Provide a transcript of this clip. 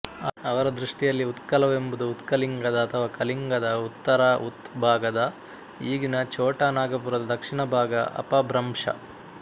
ಅವರ ದೃಷ್ಟಿಯಲ್ಲಿ ಉತ್ಕಲವೆಂಬುದು ಉತ್ಕಲಿಂಗದ ಅಥವಾ ಕಲಿಂಗದ ಉತ್ತರ ಉತ್ ಭಾಗದ ಈಗಿನ ಛೋಟಾ ನಾಗಪುರದ ದಕ್ಷಿಣ ಭಾಗ ಅಪಭ್ರಂಶ